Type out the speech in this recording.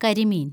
കരിമീന്‍